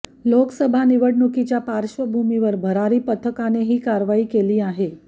लोकसभा निवडणुकीच्या पार्श्वभूमीवर भरारी पथकाने ही कारवाई केली आहे